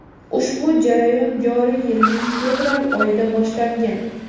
Ushbu jarayon joriy yilning fevral oyida boshlangan.